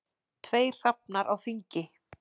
Tveir hrafnar á þingi.